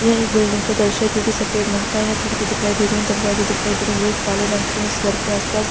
यह एक बिल्डिंग का दॄश्य है जो की सफ़ेद रंग का है। यहाँ खिड़की दिखाई दे रही है दरवाजे दिखाई दे रहे हैं ये एक काले रंग के है। इस घर के आस पास --